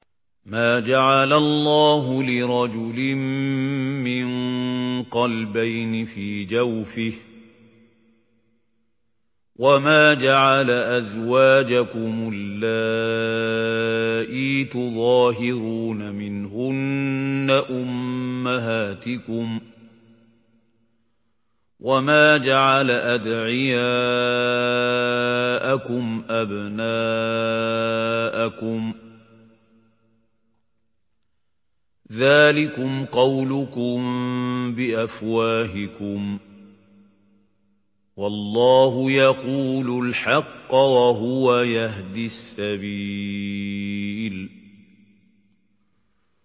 مَّا جَعَلَ اللَّهُ لِرَجُلٍ مِّن قَلْبَيْنِ فِي جَوْفِهِ ۚ وَمَا جَعَلَ أَزْوَاجَكُمُ اللَّائِي تُظَاهِرُونَ مِنْهُنَّ أُمَّهَاتِكُمْ ۚ وَمَا جَعَلَ أَدْعِيَاءَكُمْ أَبْنَاءَكُمْ ۚ ذَٰلِكُمْ قَوْلُكُم بِأَفْوَاهِكُمْ ۖ وَاللَّهُ يَقُولُ الْحَقَّ وَهُوَ يَهْدِي السَّبِيلَ